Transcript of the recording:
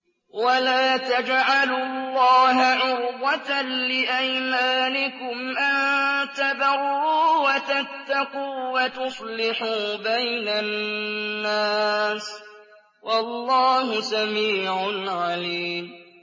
وَلَا تَجْعَلُوا اللَّهَ عُرْضَةً لِّأَيْمَانِكُمْ أَن تَبَرُّوا وَتَتَّقُوا وَتُصْلِحُوا بَيْنَ النَّاسِ ۗ وَاللَّهُ سَمِيعٌ عَلِيمٌ